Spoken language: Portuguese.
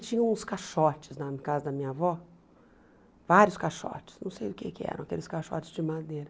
tinham uns caixotes na casa da minha avó, vários caixotes, não sei o que que eram, aqueles caixotes de madeira.